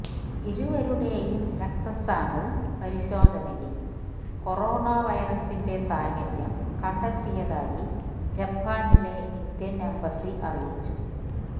ഇരുവരുടെയും രക്തസാമ്പിള് പരിശോധനയിൽ കൊറോണ വൈറസിന്റെ സാന്നിധ്യം കണ്ടെത്തിയതായി ജപ്പാനിലെ ഇന്ത്യൻ എംബസി അറിയിച്ചു